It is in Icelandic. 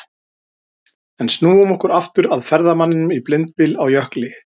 En snúum okkur aftur að ferðamanninum í blindbyl á jökli.